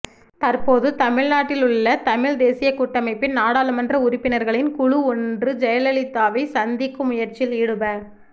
தற்போது தமிழ்நாட்டில் உள்ள தமிழ் தேசிய கூட்டமைப்பின் நாடாளுமன்ற உறுப்பினர்களின் குழு ஒன்று ஜெயலலிதாவை சந்திக்கும் முயற்சியில் ஈடுப